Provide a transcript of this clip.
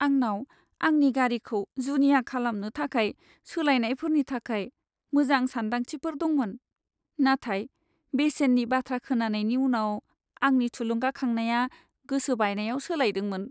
आंनाव आंनि गारिखौ जुनिया खालामनो थाखाय सोलायनायफोरनि थाखाय मोजां सानदांथिफोर दंमोन, नाथाय बेसेननि बाथ्रा खोनानायनि उनाव, आंनि थुलुंगाखांनाया गोसो बायनायाव सोलायदोंमोन।